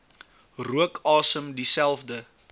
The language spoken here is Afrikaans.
rook asem dieselfde